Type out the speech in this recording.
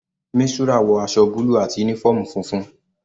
Mistura wọ aṣọ búlù àti uniform funfun.